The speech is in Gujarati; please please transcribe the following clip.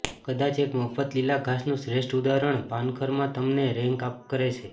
કદાચ એક મફત લીલા ઘાસનું શ્રેષ્ઠ ઉદાહરણ પાનખરમાં તમને રૅક કરે છે